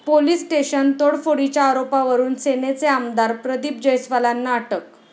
police station तोडफोडीच्या आरोपावरून सेनेचे आमदार प्रदीप जैस्वालांना अटक